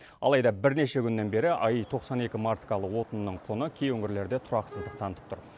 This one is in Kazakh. алайда бірнеше күннен бері аи тоқсан екі маркалы отынның құны кей өңірлерде тұрақсыздық танытып тұр